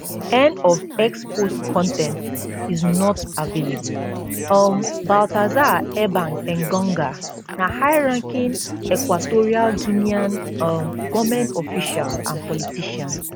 end of x post con ten t is not available um baltasar ebang engonga na highranking equatorial guinean um goment official and politician